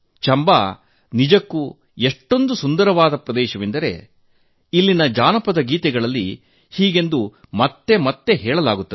ಚಂಬಾ ನಿಜಕ್ಕೂ ಎಷ್ಟೊಂದು ಸುಂದರ ಪ್ರದೇಶವೆಂದರೆ ಇಲ್ಲಿನ ಜಾನಪದ ಗೀತೆಗಳಲ್ಲಿ ಹೀಗೆಂದು ಮತ್ತೆ ಮತ್ತೆ ಹೇಳಲಾಗುತ್ತದೆ